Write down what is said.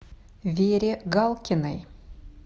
вере галкиной